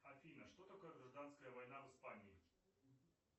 афина что такое гражданская война в испании